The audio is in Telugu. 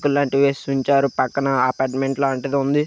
రేకులు లాంటిది వేసి ఉంచారు. పైన అపార్ట్మెంట్ లంది ఉంది.